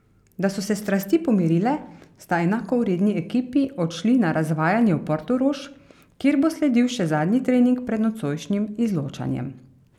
Da so se strasti pomirile, sta enakovredni ekipi odšli na razvajanje v Portorož, kjer bo sledil še zadnji trening pred nocojšnjim izločanjem.